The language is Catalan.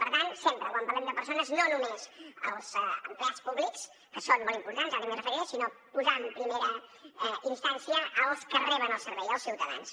per tant sempre quan parlem de persones no només els empleats públics que són molt importants ara també m’hi referiré sinó posar en primera instància els que reben el servei els ciutadans